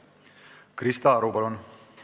Krista Aru, palun!